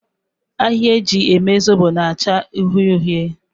Ahịhịa eji eme Zobo na-achọ uhie uhie.